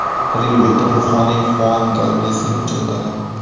Bir yil o‘tib, ruhoniy Huan Galvezni uchratadi.